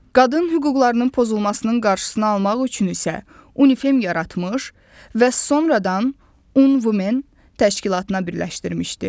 Qadın hüquqlarının pozulmasının qarşısını almaq üçün isə UNİFEM yaratmış və sonradan UN Women təşkilatına birləşdirmişdi.